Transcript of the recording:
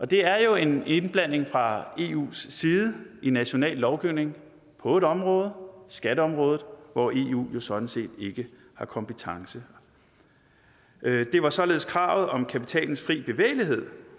det er jo en indblanding fra eus side i national lovgivning på et område skatteområdet hvor eu jo sådan set ikke har kompetence det var således kravet om kapitalens fri bevægelighed